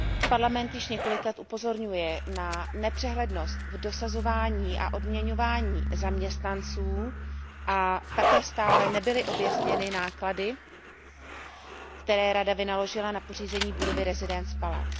Parlament již několik let upozorňuje na nepřehlednost v dosazování a odměňování zaměstnanců a také stále nebyly objasněny náklady, které Rada vynaložila na pořízení budovy Residence Palace.